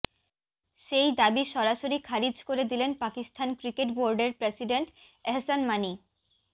সেই দাবি সরাসরি খারিজ করে দিলেন পাকিস্তান ক্রিকেট বোর্ডের প্রেসিডেন্ট এহসান মানি